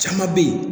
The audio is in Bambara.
Caman be ye